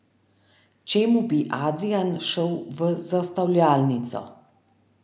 Čemu bi Adrijan šel v zastavljalnico?